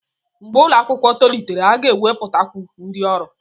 Mgbe ụlọ akwụkwọ tolitere, a ga-ewepụtakwu ndị ọrụ.